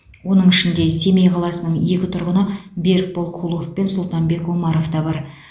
оның ішінде семей қаласының екі тұрғыны берікбол кулов пен сұлтанбек омаров та бар